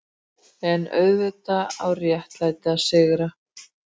EN auðvitað á réttlætið að sigra.